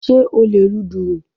Sé o lè lu dùrù?